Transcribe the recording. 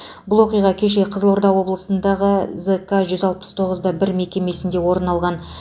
бұл оқиға кеше қызылорда облысындағы зк жүз алпыс тоғыз бір мекемесінде орын алған